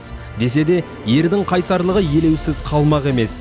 десе де ердің қайсарлығы елеусіз қалмақ емес